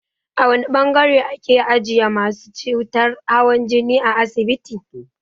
A wane ɓangare ake ajiye masu cutar hawan jini a asibiti?